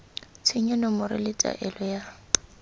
tshenyo nomoro le taelo ya